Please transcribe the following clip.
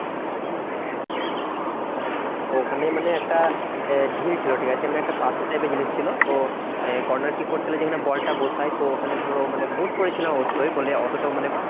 উম তো ওখানে মানে একটা আহ ঢিল ছিল ঠিকাছে? মানে একটা পাথর type এর জিনিস ছিল। তো আহ corner kick করতে গেলে যেখানে বলটা বসায়, তো ওখানে ধরো মানে boot পড়েছিলাম অবশ্যই বলে অতটাও মানে